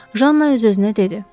Janna öz-özünə dedi.